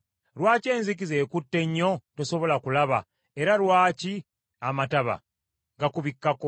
Lwaki enzikiza ekutte nnyo tosobola kulaba, era lwaki amataba gakubikkako?